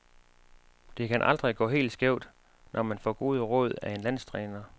Det kan aldrig gå helt skævt, når man får gode råd af en landstræner.